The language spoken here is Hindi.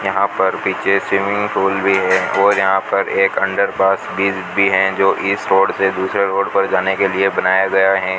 यहां पर विजय सिंह गोल भी है और यहां पर एक अंडर पास भी दी है जो इस रोड से दूसरे रोड पर जाने के लिए बनाया गया है।